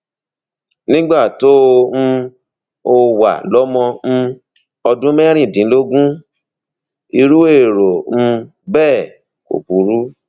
nígbà tó um o wà lọmọ um ọdún mẹrìndínlógún irú èrò um bẹẹ kò burú